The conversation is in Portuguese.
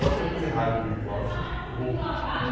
Ou até fazer rádio virtual. Isso eu vou um